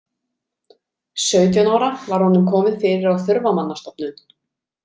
Sautján ára var honum komið fyrir á þurfamannastofnun.